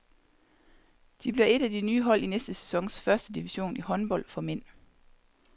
De bliver et af de nye hold i næste sæsons første division i håndbold for mænd.